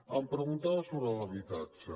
em preguntava sobre l’habitatge